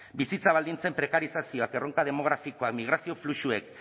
bizitza baldintzen prekarizazioak erronka demografikoak migrazio fluxuek